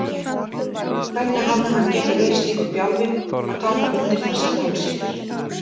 Hvernig hafði hann getað verið slíkur bjálfi að taka undir þessar tálsýnir?